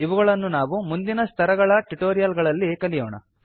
ಇವುಗಳನ್ನು ನಾವು ಮುಂದಿನ ಸ್ತರಗಳ ಟ್ಯುಟೋರಿಯಲ್ ಗಳಲ್ಲಿ ಕಲಿಯೋಣ